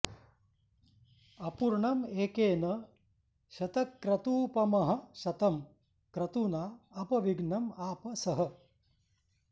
अपूर्णं एकेन शतक्रतूपमः शतं क्रतूना अपविघ्नं आप सः